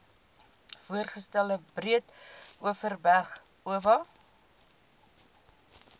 voorgestelde breedeoverberg oba